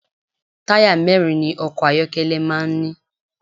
Táyà mẹ́rin ni ọkọ̀ ayọ́kẹ́lẹ́ máa ń ní.